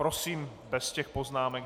Prosím bez těch poznámek.